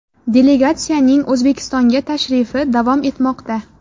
Delegatsiyaning O‘zbekistonga tashrifi davom etmoqda.